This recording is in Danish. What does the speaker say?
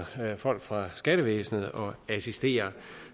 folk fra skattevæsenet og assisterer